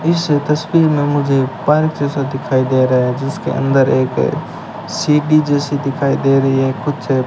इस इस तस्वीर में मुझे पार्क जैसा दिखाई दे रहा है जिसके अंदर एक सीडी जैसी दिखाई दे रही है कुछ --